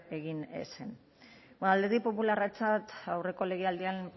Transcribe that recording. egin beno alderdi popularrarentzat aurreko legealdian